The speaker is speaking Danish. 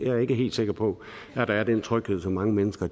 jeg er ikke helt sikker på at der er den tryghed som mange mennesker